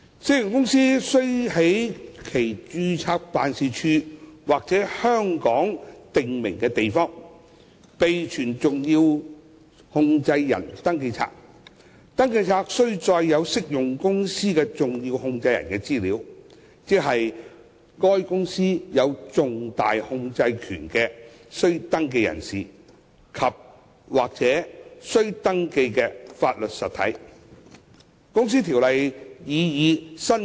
適用公司須在其註冊辦事處或香港的訂明地方備存登記冊，而登記冊須載有適用公司的重要控制人的資料，即對該公司有重大控制權的須登記人士及/或須登記法律實體。